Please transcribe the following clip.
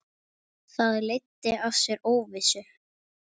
Það leiddi af sér óvissu.